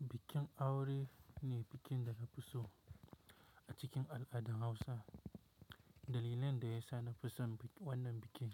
Bikin aure ne bikin da na fi so a cikin al'adar Hausa. Dalilan da ya sa na fi son wannan bikin